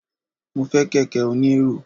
mo fe kẹkẹ oní erò